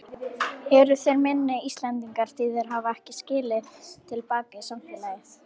Eru þeir minni Íslendingar því þeir hafa ekki skilað til baka í samfélagið?